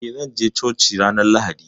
Eh, zan je coki ranar Lahadi.